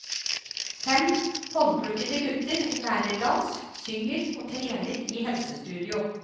Fem håndplukkede gutter lærer dans, synger og trener i helsestudio.